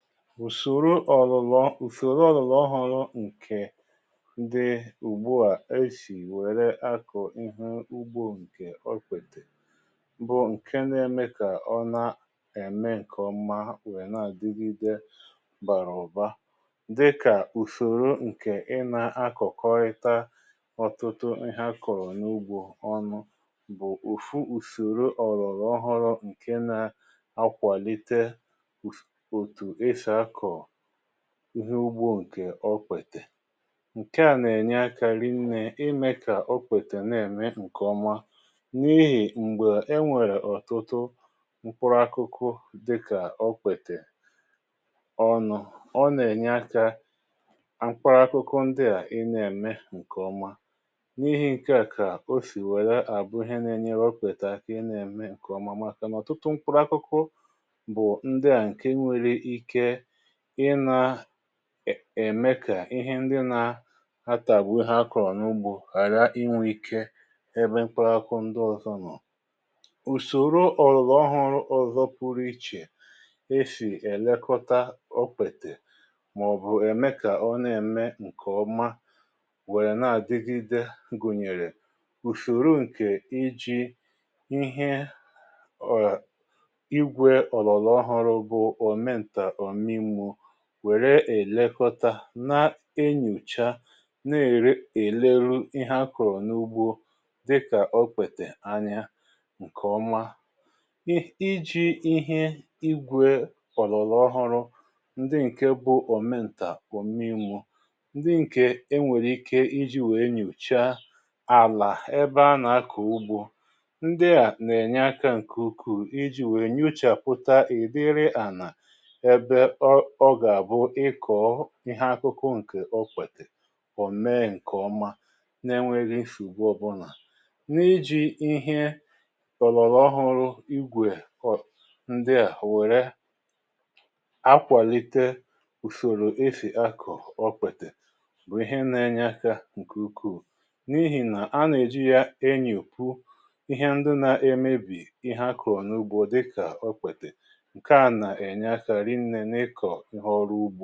Ùsòro ọ̀lụ̀lọ̀, ùsòro ọ̀lụ̀lọ̀ họrọ ǹkè di ugbua esì wère akọ̀ ịhụ̇ ugbȯ ǹkè okpètè bụ̀ ǹke nà-ème kà ọ na-ème ǹkè ọ̀mà weè na-àdịgịdė bàrà ụ̀ba dị kà ùsòro ǹkè ị nà-akọ̀kọrịta ọ̀tụtụ ihé akọ̀rọ̀ n’ugbȯ ọnụ̇ bụ̀ ofu ùsòro ọ̀lụ̀lọ̀ họrọ̀ ǹkè na-akwàlite otú esi akọ ihé ugbo ǹkè okpètè. Ǹke à nà-ènye akȧ rinnė imė kà okpètè nà ème ǹkè ọma n’ihì m̀gbè e nwèrè ọ̀tụtụ mkpụrụ ákụkụ dị kà okpètè ọnụ̇ ọ nà-ènye akȧ akụkọ ndị à ị nà-ème ǹkè ọma n’ihì ǹkè a kà o sì wère àbụ ìhè nà-enyere okpètè akȧ ị nà-ème ǹkè ọma màkà nà ọ̀tụtụ mkpụrụ akụkụ bụ ndị a nkè nwèrè ike ị nà ème kà ihé ndị nà atàgbu há akọrọ n’ugbȯ ghàra inwe ike ebe mkpụrụ akụkụ ndị ọzọ nọ. Ùsòro ọ̀lụ̀lọ̀ ọhọrọ ọ̀zọ pụrụ ichè e sì ẹ̀lẹkọta okpètè màọ̀bụ̀ ème kà ọ nà ème ǹkè ọma wéé na-adịgide gùnyèrè ùsòro ǹkè iji̇ ihé ìgwè ọgbàrà ọhụrụ bụ omenta oji mmụọ wère èlekọta, nà enyocha, na-ère èle eleru ihé akọ̀rọ̀ n’ugbo dịkà okpètè ányá ǹkè ọma. I iji̇ ihé igwė ọ̀lọ̀lọ̀ ọhụrụ ndi ǹke bụ̇ omentà omi mmụọ ndị ǹkè enwèrè ike iji̇ wèe nyochaa àlà ebe a nà-akọ̀ ugbo ndị à nà-ènye akȧ ǹkè ukuu iji̇ wèe nyochàpụ̀ta ị̀ dịrị ànà ébé ọ ọ gá bụ ịkọ ihé akụkụ ǹkè okpètè ome nkè ọmá nà enweghị nsògbu ọbụna. Nà iji ihé ọ̀lọ̀rọ̀ ọhụrụ igwè um ndị a wère akwàlite ùsòrò esì akọ okpètè bụ̀ ihé na-enye akà ǹkè ukuù n’ihì nà á nà èji yá enyopù ihé ndụ na-emebì ihé akọrọ n’ugbo dị kà okpètè nkè a nà enye aka rinne n’ịkọ ihé ọrụ ugbȯ.